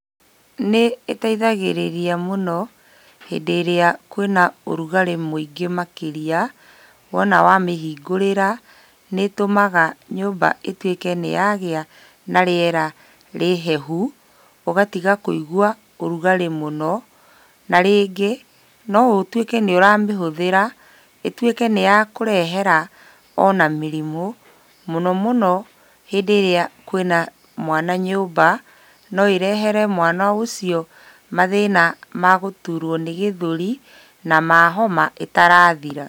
Nĩ ĩteithagĩrĩria mũno hĩndĩ ĩrĩa kwĩna ũrugarĩ mũingĩ makĩria, wona wa mĩhingũrĩra, nĩ ĩtũmaga nyũmba ĩtuĩke nĩ yagĩa na rĩera rĩhehu, ũgatiga kũigua ũrugarĩ mũno. Na rĩngĩ no ũtuĩke nĩ ũramĩhũthĩra ĩtuĩke nĩ ya kũrehera ona mĩrimũ mũno mũno hĩndĩ ĩrĩa kwĩna mwana nyũmba, no ĩrehere mwana ũcio mathĩna ma gũturuo nĩ gĩthũri na ma homa ĩtarathira.